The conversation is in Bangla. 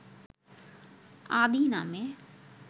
‘আদি’ নামে